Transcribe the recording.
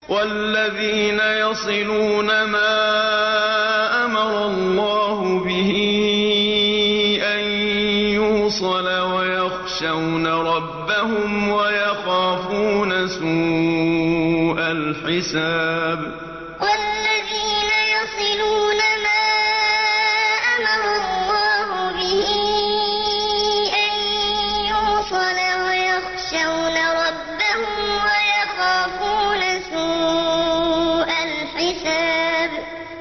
وَالَّذِينَ يَصِلُونَ مَا أَمَرَ اللَّهُ بِهِ أَن يُوصَلَ وَيَخْشَوْنَ رَبَّهُمْ وَيَخَافُونَ سُوءَ الْحِسَابِ وَالَّذِينَ يَصِلُونَ مَا أَمَرَ اللَّهُ بِهِ أَن يُوصَلَ وَيَخْشَوْنَ رَبَّهُمْ وَيَخَافُونَ سُوءَ الْحِسَابِ